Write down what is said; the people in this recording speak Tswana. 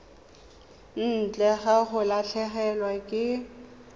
ntle ga go latlhegelwa ke